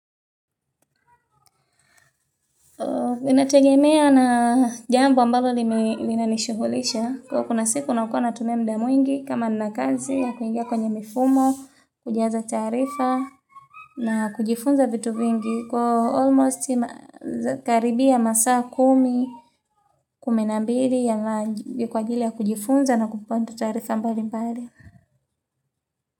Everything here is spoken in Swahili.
Inategemea na jambo ambalo lina nishughulisha Kwa kunaa siku unakona tumumia muda mwingi kama na kazi ya kuingia kwenye mifumo Kujaza tarifa na kujifunza vitu vingi Kwa almost karibia masaa kumi kumi na mbili ya kwa ajili ya kujifunza na kupata taarifa mbali mbali.